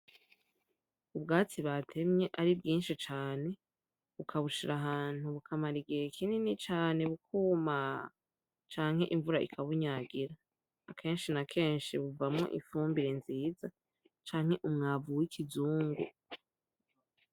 Ubwatsi batemye ari bwinshi cane bakabushira ahantu bukamara igihe kinini cane bukuma canke imvura ikabunyagira. Kenshi na kenshi buvamwo ifumbire nziza canke umwavu w'ikizungu.